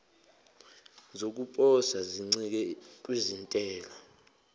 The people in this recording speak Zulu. zokuposa zincike kwintela